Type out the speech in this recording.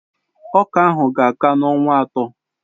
Ọka ka-aka n'ọnwa atọ